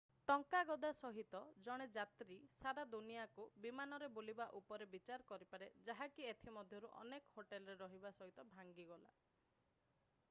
ଟଙ୍କା ଗଦା ସହିତ ଜଣେ ଯାତ୍ରୀ ସାରା ଦୁନିଆକୁ ବିମାନରେ ବୁଲିବା ଉପରେ ବିଚାର କରିପାରେ ଯାହାକି ଏଥି ମଧ୍ୟରୁ ଅନେକ ହୋଟେଲରେ ରହିବା ସହିତ ଭାଙ୍ଗିଗଲା